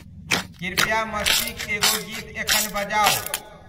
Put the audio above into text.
कृपया मस्ती क एगो गीत एखन बजाऊ